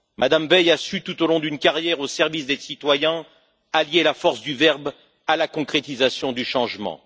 Mme Veil a su, tout au long d'une carrière au service des citoyens, allier la force du verbe à la concrétisation du changement.